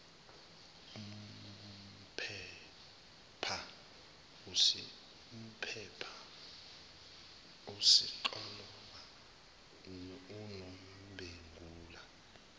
umpepha usixoloba unombengula